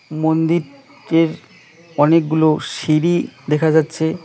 মন্দির টের অনেকগুলো সিঁড়ি দেখা যাচ্ছে।